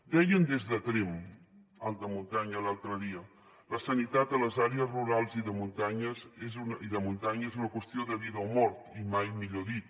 deien des de tremp alta muntanya l’altre dia la sanitat a les àrees rurals i de muntanya és una qüestió de vida o mort i mai millor dit